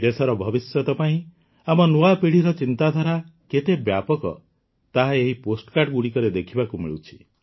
ଦେଶର ଭବିଷ୍ୟତ ପାଇଁ ଆମ ନୂଆ ପିଢ଼ିର ଚିନ୍ତାଧାରା କେତେ ବ୍ୟାପକ ତାହା ଏହି ପୋଷ୍ଟକାର୍ଡ଼ଗୁଡ଼ିକରେ ଦେଖିବାକୁ ମିଳୁଛି